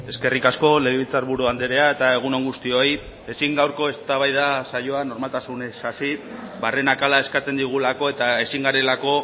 eskerrik asko legebiltzar buru andrea eta egun on guztioi ezin gaurko eztabaida saioa normaltasunez hasi barrenak hala eskatzen digulako eta ezin garelako